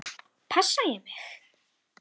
Passa ég mig?